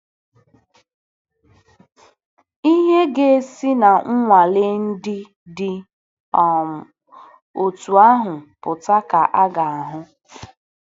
Ihe ga-esi na nnwale ndị dị um otú ahụ pụta ka a ga-ahụ.